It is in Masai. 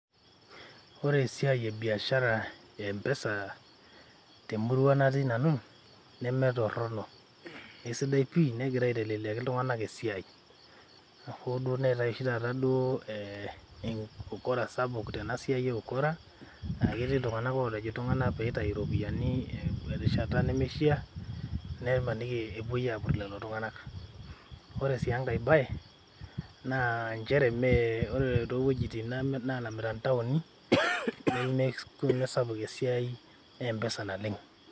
Ore esiiai ebiashara ee mpesa temurua natii nanu eisidai pii negira aiteleleki ltunganak esiai oo ooduo neetai oshi duo ukora sapuk tena siai e mpesa ketii ltunganak olej ltunganak peitau ropiyiani te rishata nemeishaa nepoi apur lelo tunganak .Ore enkai bae naa ore towuejitin nalamita ntauni nemesapuk esiai e mpesa tene.